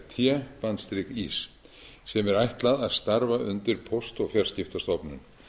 viðbragðsteymis er nefnist cert ís sem er ætlað að starfa undir póst og fjarskiptastofnun